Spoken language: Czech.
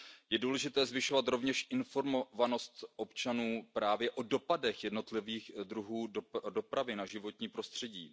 Je důležité zvyšovat rovněž informovanost občanů právě o dopadech jednotlivých druhů dopravy na životní prostředí.